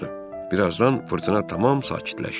Birazdan fırtına tamam sakitləşdi.